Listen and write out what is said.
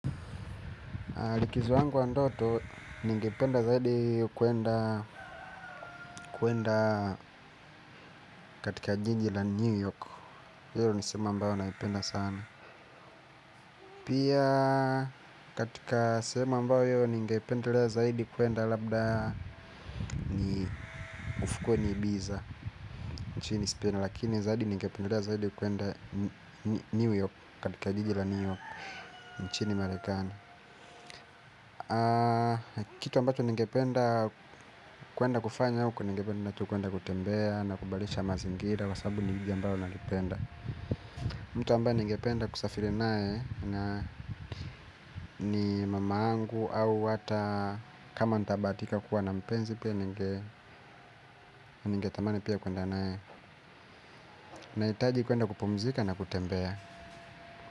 Likizo yangu ya ndoto ningependa zaidi kuenda katika jiji la New York hio ni sehemu ambayo naipenda sana pia katika sehemu ambaoyo ningependelea zaidi kuenda labda ufukweni Ibiza nchini spain lakini zaidi ningependelea zaidi kuenda New York katika jiji la New York nchini marekani kitu ambacho ningependa kuenda kufanya huko ningependa tu kuenda kutembea na kubadilisha mazingira kwa sababu ni mji ambao nalipenda. Mtu ambae ningependa kusafiri nae na ni mamaangu au hata kama nitabahatika kuwa na mpenzi pia ningetamani pia kuenda nae. Nahitaji kwenda kupumzika na kutembea.